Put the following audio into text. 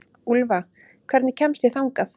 Úlfa, hvernig kemst ég þangað?